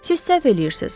Siz səhv eləyirsiz.